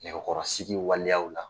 Nɛgɛkɔrɔsigi waleyaw la